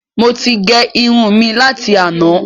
Mo ti gé irun mi láti àná